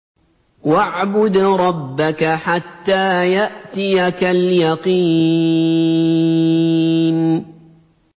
وَاعْبُدْ رَبَّكَ حَتَّىٰ يَأْتِيَكَ الْيَقِينُ